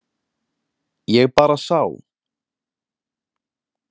Ég bara sá.